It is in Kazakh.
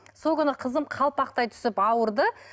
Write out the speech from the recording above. сол күні қызым қалпақтай түсіп ауырды